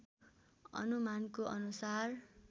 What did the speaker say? अनुमानको अनुसार